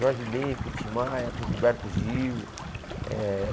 Jorge Bem com Tim Maia, com Gilberto Gil eh.